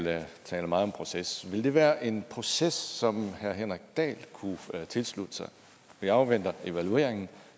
taler meget om proces ville det være en proces som herre henrik dahl kunne tilslutte sig vi afventer evalueringen